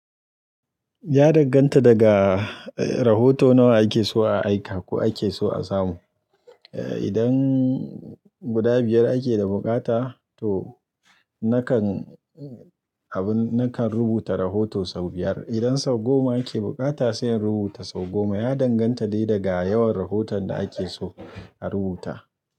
Ya danganta daga, eh, rahoto nawa ake so a aika ko ake so a samu. Eh, idan guda biyar ake da bukata to nakan, abin nakan rubuta rahoto sau biyar. Idan sau goma ake bukata sai in rubuta sau goma. Ya danganta dai daga yawan rahoton da ake so a rubuta.